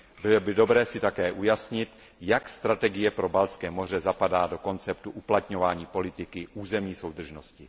Bylo by dobré také ujasnit, jak strategie pro Baltské moře zapadá do konceptu uplatňování politiky územní soudržnosti.